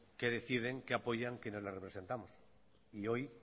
qué deciden qué apoyan quienes los representamos y hoy